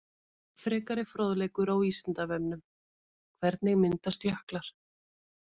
Frekari fróðleikur á Vísindavefnum: Hvernig myndast jöklar?